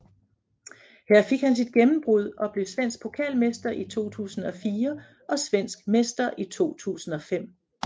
Her fik han sit gennembrud og blev svensk pokalmester i 2004 og svensk mester i 2005